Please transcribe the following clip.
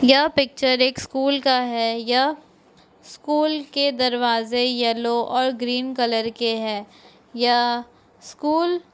ये पिक्चर एक स्कूल का है यह स्कूल के दरवाजे येलो और ग्रीन कलर के हैं यह स्कूल --